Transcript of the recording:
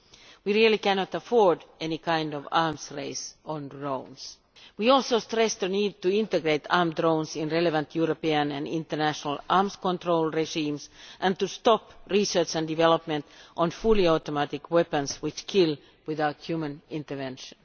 We cannot afford any kind of arms race on drones. We also stress the need to include armed drones in relevant European and international arms control regimes and to stop research into, and the development of, fully automatic weapons which kill without human intervention.